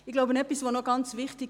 Etwas ist sehr wichtig;